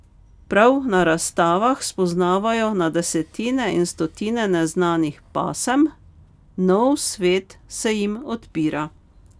Prav na razstavah spoznavajo na desetine in stotine neznanih pasem, nov svet se jim odpira.